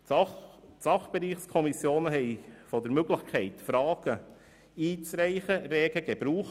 Die Sachbereichskommissionen machten von der Möglichkeit, Fragen zu stellen, rege Gebrauch.